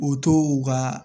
O to u ka